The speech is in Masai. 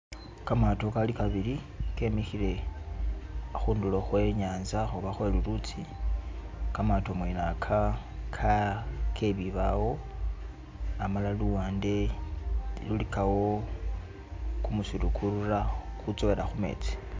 Kamaato kali kabili kemikhile khundulo khwe i'nyaanza oba khwe lulutsi. Kamaato mwene aka ka ke bibawo amala luwande lulikawo kumusiru kurura, kutsowela khu metsi.